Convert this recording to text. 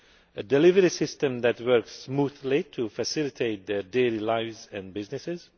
SMEs a delivery system that works smoothly to facilitate their daily lives and businesses